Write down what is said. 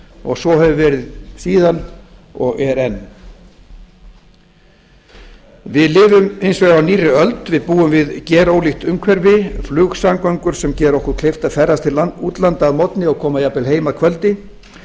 og svo hefur verið síðan og er enn við lifum hins vegar á nýrri öld við búum við gerólíkt umhverfi flugsamgöngur sem gera okkur kleift að ferðast til útlanda að morgni og koma jafnvel heim að kvöldi